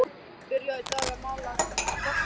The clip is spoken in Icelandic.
Byrjað í dag að mala kvarsið.